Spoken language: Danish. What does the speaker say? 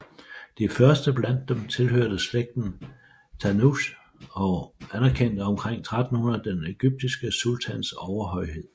De første blandt dem tilhørte slægten Tanuch og anerkendte omkring 1300 den egyptiske sultans overhøjhed